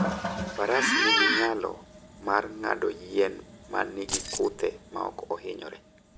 Faras nigi nyalo mar ng'ado yien ma nigi kuthe maok ohinyore.